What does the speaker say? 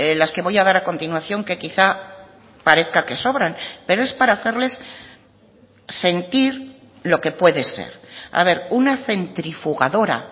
las que voy a dar a continuación que quizá parezca que sobran pero es para hacerles sentir lo que puede ser a ver una centrifugadora